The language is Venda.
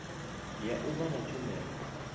ya u vha na tshumelo